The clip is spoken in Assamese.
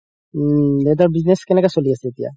উম দেউতাৰ business কেনেকা চলি আছে এতিয়া